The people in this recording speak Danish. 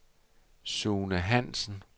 Sune Hansen